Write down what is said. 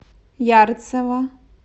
ярцево